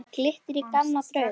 Þar glittir í gamla drauga.